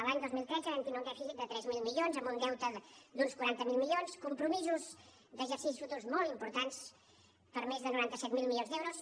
l’any dos mil tretze vam tindre un dèficit de tres mil milions amb un deute d’uns quaranta miler milions compromisos d’exercicis futurs molt importants per més de noranta set mil milions d’euros